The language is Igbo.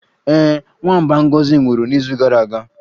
Ee, nwamba Ngozi nwụrụ n'izu gara aga